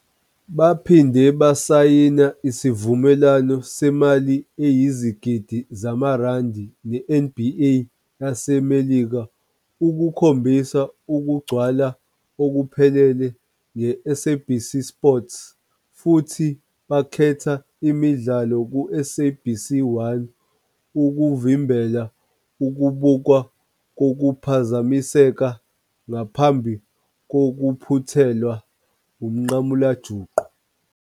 Baphinde basayina isivumelwano semali eyizigidi zamarandi neNBA yaseMelika ukukhombisa ukugcwala okuphelele ngeSABC Sport futhi bakhetha imidlalo kuSABC 1 ukuvimbela ukubukwa kokuphazamiseka ngaphambi kokuphuthelwa umnqamulajuqu.